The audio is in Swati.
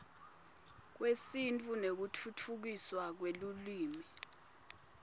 kwesintfu nekutfutfukiswa kwelulwimi